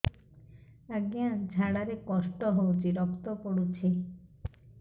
ଅଜ୍ଞା ଝାଡା ରେ କଷ୍ଟ ହଉଚି ରକ୍ତ ପଡୁଛି